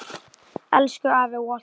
Elsku afi Walter.